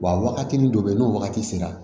Wa wagati min dɔ bɛ yen n'o wagati sera